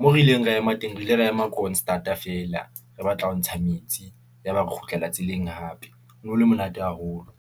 moo re ileng ra ema teng, re ile ra ema kroonstaad a feela, re batla ho ntsha metsi, yaba re kgutlela tseleng hape, ho no le monate haholo.